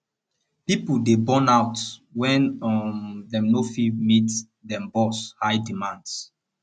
pipo dey burn out wen um dem no fit meet dem bosss high demands